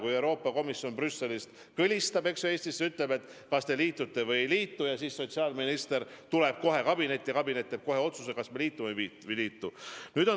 Kui Euroopa Komisjon Brüsselist kõlistab Eestisse ja küsib, kas te liitute või ei liitu lepinguga, siis sotsiaalminister tuleb kohe kabinetti ja kabinet teeb kohe otsuse, kas me liitume või ei liitu.